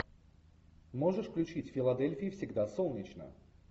можешь включить в филадельфии всегда солнечно